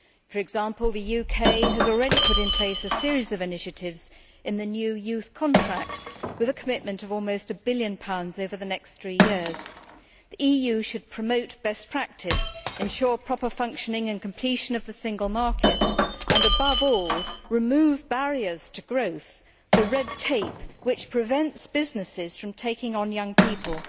For example, the UK has already put in place a series of initiatives in the new Youth Contract, with a commitment of almost GBP 1 billion over the next three years. The EU should promote best practice, ensure proper functioning and completion of the single market and, above all, remove barriers to growth in the form of the red tape which prevents businesses from taking on young people.